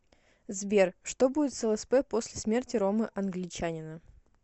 сбер что будет с лсп после смерти ромы англичанина